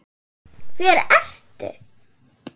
Hver ert þú?